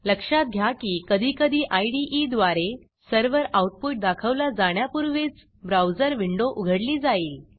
लक्षात घ्या की कधीकधी इदे द्वारे सर्व्हर आऊटपुट दाखवला जाण्यापूर्वीच ब्राऊजर विंडो उघडली जाईल